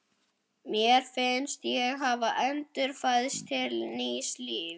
Mér fannst ég hafa endurfæðst til nýs lífs.